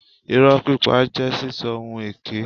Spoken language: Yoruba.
Ìrọ́ pípa jẹ́ sísọ ohun èké.